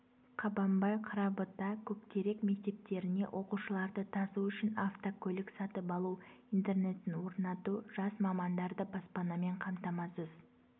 қабанбай қарабұта көктерек мектептеріне оқушыларды тасу үшін автокөлік сатып алу интернетін орнату жас мамандарды баспанамен қамтамасыз